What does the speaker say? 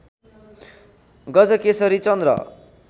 गजकेशरी चन्द्र